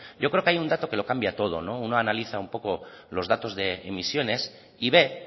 yo creo que hay un dato que lo cambia todo uno analiza un poco los datos de emisiones y ve